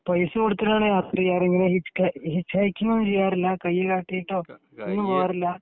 പൈസ കൊടുത്തിട്ടാണോ യാത്ര ചെയ്യാറുണ് നിങ്ങൾ കൈ കാട്ടിയിട്ടോ പോകാറില്ലേ